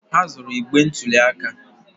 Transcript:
Ha zuru igbe ntụli aka